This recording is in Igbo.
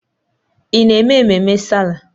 Ị na-eme ememme Sáálà?